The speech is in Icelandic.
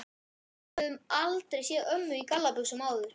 við höfðum aldrei séð ömmu í gallabuxum áður.